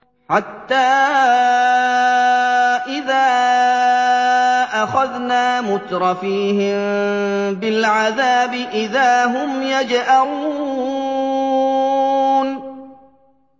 حَتَّىٰ إِذَا أَخَذْنَا مُتْرَفِيهِم بِالْعَذَابِ إِذَا هُمْ يَجْأَرُونَ